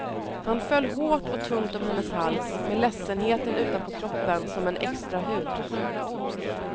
Han föll hårt och tungt om hennes hals med ledsenheten utanpå kroppen som en extra hud.